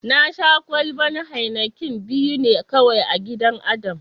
Na Sha kwalban "Heineken " biyu ne kawai a gidan Adam.